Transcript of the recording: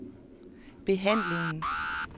behandlingen